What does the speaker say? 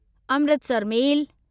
Amritsar मेल